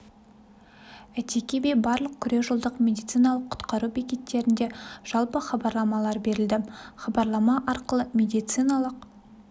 әйтеке би барлық күре жолдық медициналық құтқару бекеттерінде жалпы хабарламалар берілді хабарлама арқылы рет медициналық